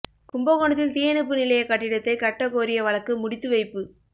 கும்பகோணத்தில் தீயணைப்பு நிலைய கட்டிடத்தை கட்ட கோரிய வழக்கு முடித்து வைப்பு